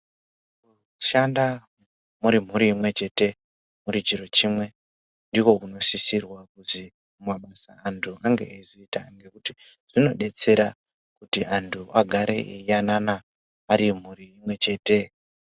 Kushanda muri mhuri imwechete, muri chiro chimwe ndiko kunosisirwa kuzi antu ange eizoita ngekuti zvinodetsera kuti antu agare eiyanana ari mhuri imwechete.